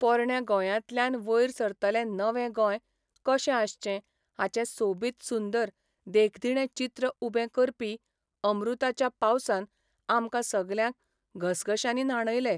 पोरण्या गोंयांतल्यान वयर सरतलें नवें गोंय कशें आसचें हाचें सोबीत सुंदर देखदिणें चित्र उबें करपी अमृताच्या पावसान आमकां सगल्यांक घसघश्यांनी न्हाणयले.